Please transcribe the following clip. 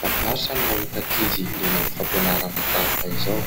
Mahafinaritra ny mahita ankizy liana amin'ny fampianarana tahaka izao.